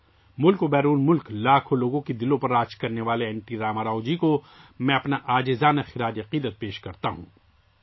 ملک اور دنیا کے کروڑوں لوگوں کے دلوں پر راج کیا کرنے والے این ٹی راما راؤ جی کے تئیں میں عاجزانہ خراج عقیدت پیش کرتا ہوں